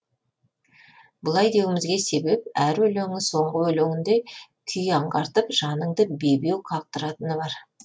бұлай деуімізге себеп әр өлеңі соңғы өлеңіндей күй аңғартып жаныңды бебеу қақтыратыны бар